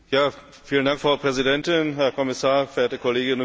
Frau Präsidentin, Herr Kommissar, verehrte Kolleginnen und Kollegen!